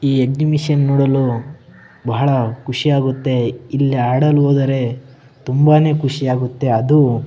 ಈ ಎಸ್ಜಿಬಿಶನ್‌ ನೋಡಲು ಬಹಳ ಖುಷಿ ಆಗುತ್ತೆ ಇಲ್ಲಿ ಆಡಲು ಹೋದರೆ ತುಂಬಾನೇ ಖುಷಿ ಆಗುತ್ತೆ ಅದು --